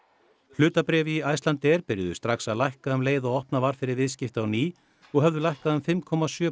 hlutabréf í Icelandair byrjuðu strax að lækka um leið og opnað var fyrir viðskipti á ný og höfðu lækkað um fimm komma sjö